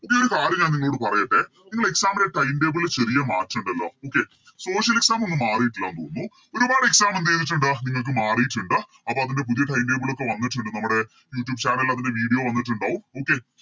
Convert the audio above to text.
പുതിയൊരു കാര്യം ഞാൻ നിങ്ങളോട് പറയട്ടെ നിങ്ങളെ Exam ൻറെ Time table ചെറിയ മാറ്റം ഉണ്ടല്ലോ Okay social exam ഒന്നും മാറീട്ടില്ലാന്ന് തോന്നുന്നു ഒരുപാട് Exam എന്തേയ്‌തിട്ടുണ്ട് നിങ്ങൾക്ക് മാറീട്ടുണ്ട് അപ്പൊ അതിൻറെ പുതിയ Time table ഒക്കെ വന്നിട്ടുണ്ട് നമ്മുടെ Youtube channel ൽ അതിൻറെ Video വന്നിട്ടുണ്ടാകും Okay